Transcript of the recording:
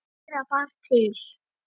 Og fleira bar til.